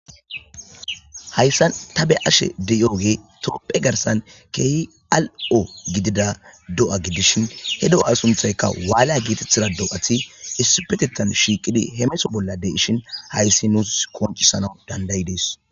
Hayisan ta be ashe deyooge tropphe garsan keehi al'o gidida do'a gidishin he do'a sunthaykka waalea gietetthida do'ati isipetitan shiiqidi hemeso bollade ishin hayssi nuus koncisana dandayi dees